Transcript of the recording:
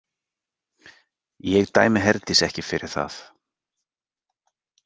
Ég dæmi Herdísi ekki fyrir það.